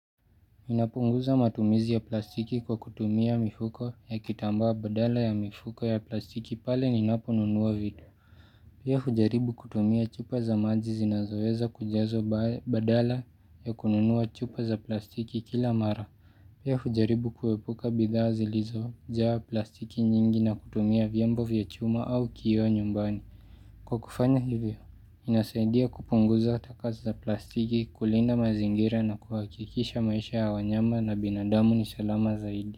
Napunguza matumizi ya plastiki kwa kutumia mifuko ya kitambaa badala ya mifuko ya plastiki pale ninapo nunua vitu. Pia hujaribu kutumia chupa za maji zinazoweza kujazwa badala ya kununua chupa za plastiki kila mara. Pia hujaribu kuepuka bidhaa zilizojawa plastiki nyingi na kutumia vyombo vya chuma au kioo nyumbani. Kwa kufanya hivyo, inasaidia kupunguza takaa za plastiki kulinda mazingira na kuhakikisha maisha ya wanyama na binadamu ni salama zaidi.